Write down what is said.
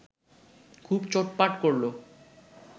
খুব চোটপাট করল